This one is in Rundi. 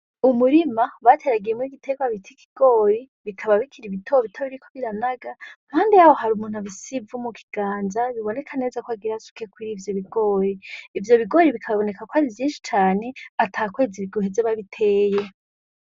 Umurima bateragiyemwo igitegwa bita ikigori. Bikaba bikiri bitobito biriko biranaga. Impande yaho hari umuntu afise Ivu mukiganza, biboneka neza ko agira asuke kurivyo bigori. Ivyo bigori bikaboneka kwari vyinshi cane atakwezi guheze babiteye.